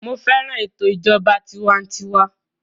Mo fẹ́ràn ètò ìjọba tiwantiwa